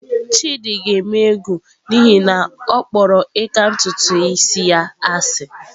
Chidi ga-eme egwu n'ihi na ọ kpọrọ ịka ntutu isi ya asị.